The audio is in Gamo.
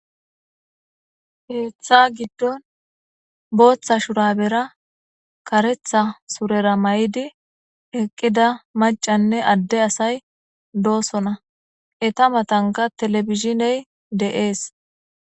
Keeththa gidon bootha shurabera karetha surera mayddi eqida maccane adde assay dosonna. Eeta mathankka telbizhiney dees.